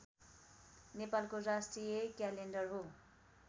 नेपालको राष्ट्रिय क्यालेण्डर हो